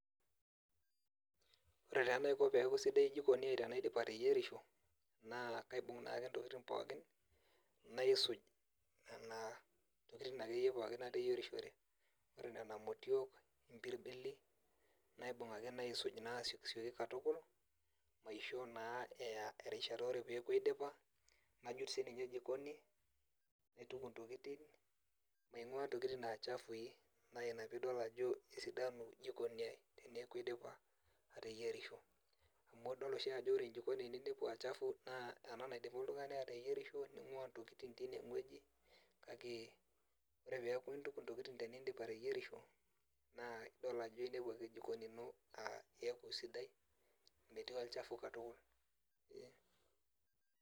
Ore ta anaiko peaku jikoni aai sidai tanaidip ateyierisho naa kaibung naak ntokitin pookin naisuj ntokitin akeyie pookin nateyierishie, naibung ake nona motiok ombirbili naibung ake naisuj asiokisioki katukul ,ore peaku aidipa najut sininye jikoni naituku ntokitin naingua ntokitin achafui, na ina peidol ajo kesidanu jikoni teneaku aidipa ateyierisho, amu adol oshi ajo ore jikoni peinepu achafu na ena oshi na enidip oltungani ateyierisho ningua ntokitin tinewueji, kake ore peaku intuku ntokitin tenindip ateyierisho naa idol ajo inepu ake jikoni ino ataa sidai metii olchafu katukul.